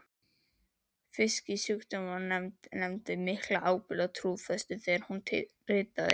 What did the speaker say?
Fisksjúkdómanefnd sýndi mikla ábyrgð og trúfestu þegar hún ritaði